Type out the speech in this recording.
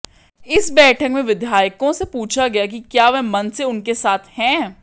इस बैठक में विधायकों से पूछा गया कि क्या वे मन से उनके साथ हैं